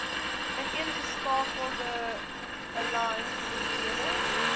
ineengeskakelde aligned individuele